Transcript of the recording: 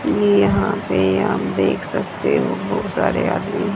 ये यहां पे आप देख सकते हो बहुत सारे आदमी--